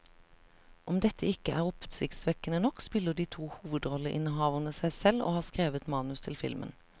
Om dette ikke er oppsiktsvekkende nok, spiller de to hovedrolleinnehaverne seg selv og har skrevet manus til filmen.